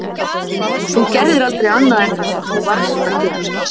Þú gerðir aldrei annað en það sem þú varðst að gera.